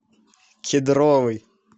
кедровый